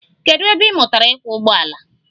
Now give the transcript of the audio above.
Kedụ ebe ị mụtara ịkwọ ụgbọala?